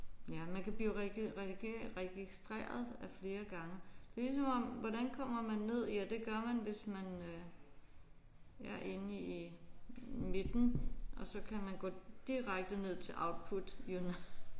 Ja man kan blive registreret af flere gange. Det er ligesom om hvordan kommer man ned ja det gør man hvis man øh er inde i midten og så kan man gå direkte ned til output unit